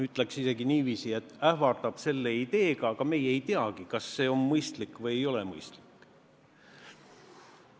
Ütleks isegi niiviisi, et ähvardab selle ideega, aga meie ei teagi, kas see on mõistlik või ei ole mõistlik.